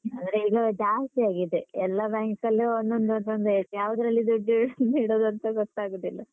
ಆದ್ರೆ ಈಗ ಜಾಸ್ತಿ ಆಗಿದೆ. ಎಲ್ಲ bank ಅಲ್ಲು ಒಂದೊಂದೊಂದು ಇರುತ್ತೆ. ಯಾವ್ದ್ರಲ್ಲಿ ದುಡ್ಡು ಇಡ್ ter ಇಡುದಂತ ಗೊತ್ತಾಗುದಿಲ್ಲ. ter